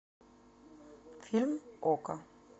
фильм окко